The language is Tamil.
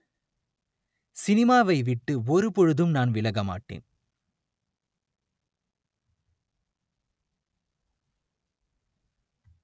சினிமாவை விட்டு ஒருபொழுதும் நான் விலக மாட்டேன்